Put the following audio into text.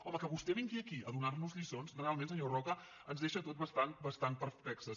home que vostè vingui aquí a donar nos lliçons realment senyor roca ens deixa a tots bastant bastant perplexos